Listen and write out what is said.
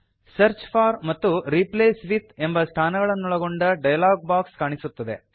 search for ಮತ್ತು replace with ಎಂಬ ಸ್ಥಾನಗಳನ್ನೊಳಗೊಂಡ ಡಯಲಾಗ್ ಬಾಕ್ಸ್ ಕಾಣಿಸುತ್ತದೆ